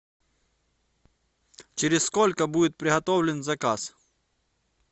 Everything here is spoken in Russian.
через сколько будет приготовлен заказ